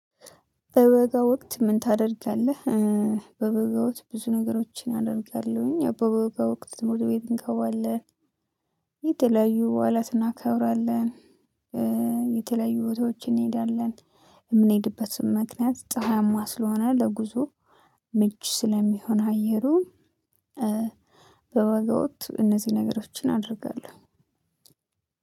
በበጋ ወቅት ምን ታደርጋለህ? በበጋ ወቅት ብዙ ነገሮችን አደርጋለሁኝ። በበጋ ወቅት ሞቶ ቤት እንከዋለን። የተለያዩ በዓላት እናከብራለን። የተለያዩ ቦታዎች እንሄዳለን። የምንሄድበትም ምክንያት ፀሀይማ ስለሆነ ለጉዞ ምች ስለሚሆን አየሩን በወገወጥ እነዚህ ነገሮችን አደርጋለሁ።